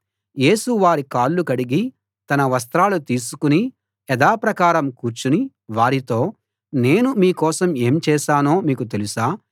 యేసు వారి కాళ్ళు కడిగి తన వస్త్రాలు తీసుకుని యథాప్రకారం కూర్చుని వారితో నేను మీ కోసం ఏం చేశానో మీకు తెలుసా